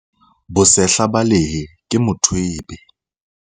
bosehla ba lehe ke mothwebe